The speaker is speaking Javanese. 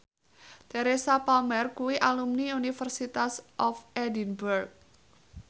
Teresa Palmer kuwi alumni University of Edinburgh